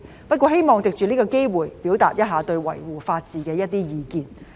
不過，我希望藉此機會表達對維護法治的一些意見。